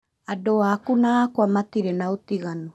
Andũ aku na akwa matirĩ naũtiganu